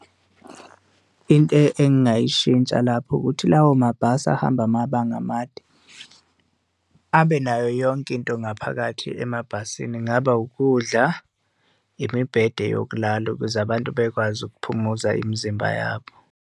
Into engingayishintsha lapho ukuthi lawo mabhasi ahamba amabanga amade abe nayo yonke into ngaphakathi emabhasini, kungaba ukudla imibhede yokulala ukuze abantu bekwazi ukuphumuza imizimba yabo.